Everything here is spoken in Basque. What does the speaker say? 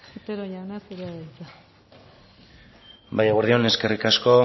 otero jauna zurea da hitza bai eguerdi on eskerrik asko